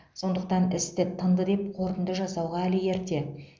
сондықтан істі тынды деп қорытынды жасауға әлі ерте